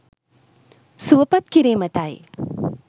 සුවපත් කිරීමටයි.